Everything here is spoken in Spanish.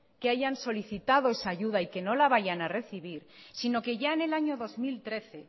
que haya solicitado esa ayuda y que no la vaya a recibir sino que ya en el año dos mil trece